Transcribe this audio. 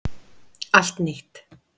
Allt nýtt